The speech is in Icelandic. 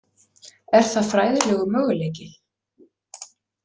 Er það fræðilegur möguleiki?